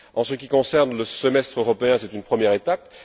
En ce qui concerne le semestre européen, c'est une première étape.